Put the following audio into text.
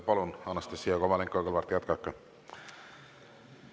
Palun, Anastassia Kovalenko-Kõlvart, jätkake!